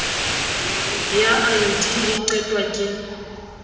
ya ayodine e qetwa ke